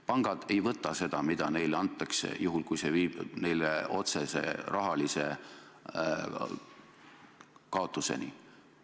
Pangad ei võta seda, mis neile antakse, juhul kui see viib neid otsese rahalise kaotuseni.